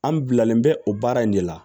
An bilalen bɛ o baara in de la